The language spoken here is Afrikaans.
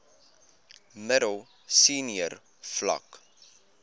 middel senior vlak